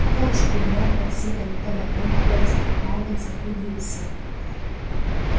а также углём бокситами табаком перцем марганцем и древесиной